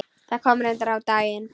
Það kom reyndar á daginn.